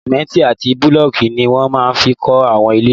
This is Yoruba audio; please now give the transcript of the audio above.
Sìmẹ́ntì àti búlọ̀kù ní wọ́n máa fi n kọ́ àwọn ilé